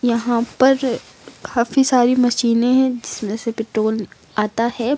यहां पर काफी सारी मशीनें है जिसमें से पेट्रोल आता है।